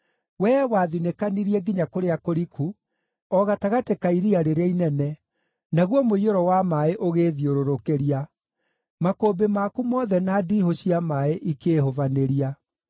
Wee wathinĩkanirie nginya kũrĩa kũriku, o gatagatĩ ka iria rĩrĩa inene, naguo mũiyũro wa maaĩ ũgĩĩthiũrũrũkĩria; makũmbĩ maku mothe na ndiihũ cia maaĩ ikĩĩhubanĩria.